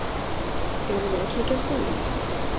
Eigum við að kíkja á staðinn?